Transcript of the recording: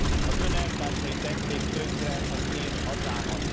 Az Ön elvtársai tették tönkre az én hazámat.